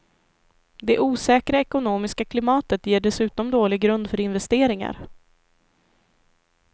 Det osäkra ekonomiska klimatet ger dessutom dålig grund för investeringar.